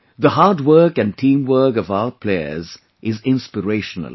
The hard work and teamwork of our players is inspirational